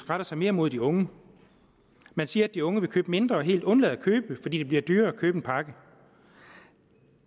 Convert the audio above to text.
retter sig mere mod de unge man siger at de unge vil købe mindre og helt undlade at købe fordi det bliver dyrere at købe en pakke